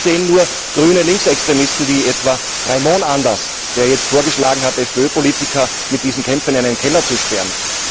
Das sehen nur grüne Linksextremisten wie etwa Reimon anders, der jetzt vorgeschlagen hat, FPÖ Politiker mit diesen Kämpfern in einen Keller zu sperren.